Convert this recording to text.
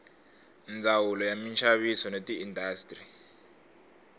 ndzawulo ya minxaviso na tiindastri